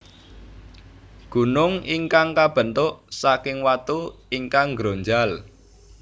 Gunung ingkang kabentuk saking watu ingkang nggronjal